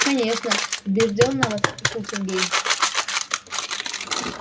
конечно убеждённо воскликнул сергей